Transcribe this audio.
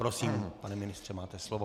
Prosím, pane ministře, máte slovo.